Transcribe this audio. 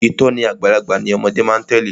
Ìtòní àgbàlagbà ni ọmọde má a tèlé.